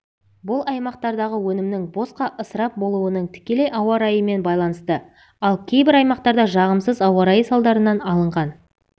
бұл аймақтардағы өнімнің босқа ысырап болуының тікелей ауа райымен байланысты ал кейбір аймақтарда жағымсыз ауа райы салдарынан алынған